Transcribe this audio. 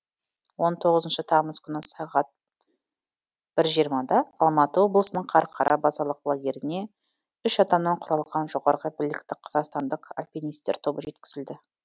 он тоғызыншы тамыз күні сағат бір жиырмада алматы облысының қарқара базалық лагеріне үш адамнан құралған жоғарғы білікті қазақстандық альпинистер тобы жеткізілді